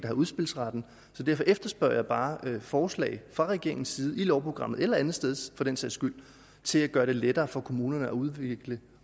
har udspilsretten så derfor efterspørger jeg bare forslag fra regeringens side i lovprogrammet eller andetsteds for den sags skyld til at gøre det lettere for kommunerne at udvikle